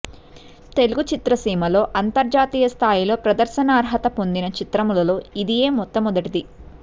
తెలుగు చిత్రసీమలో అంతర్జాతీయ స్థాయిలో ప్రదర్శనార్హతను పొందిన చిత్రములలో ఇదియే మొట్టమొదటిది